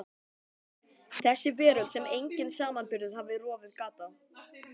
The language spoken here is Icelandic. Þessi veröld sem enginn samanburður hafði rofið gat á.